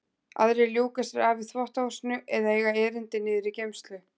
Aðrir ljúka sér af í þvottahúsinu eða eiga erindi niður í geymslu.